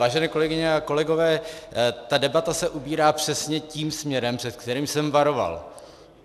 Vážené kolegyně a kolegové, ta debata se ubírá přesně tím směrem, před kterým jsem varoval.